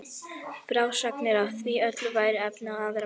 Frásagnir af því öllu væru efni í aðra bók.